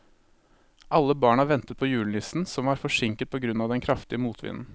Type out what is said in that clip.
Alle barna ventet på julenissen, som var forsinket på grunn av den kraftige motvinden.